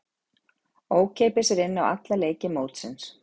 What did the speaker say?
Ókeypis er inn á alla leiki mótsins.